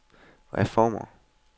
reformer